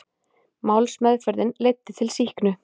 Málsmeðferðin leiddi til sýknu